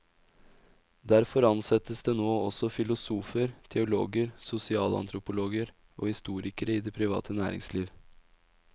Derfor ansettes det nå også filosofer, teologer, sosialantropologer og historikere i det private næringsliv.